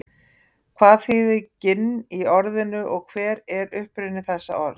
hvað þýðir ginn í orðinu og hver er uppruni þessa orðs